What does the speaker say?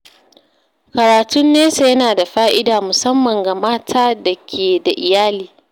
Karatun nesa yana da fa’ida musamman ga mata da ke da iyalai.